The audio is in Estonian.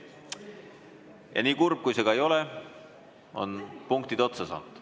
Ja nii kurb kui see ka ei ole, on punktid otsa saanud.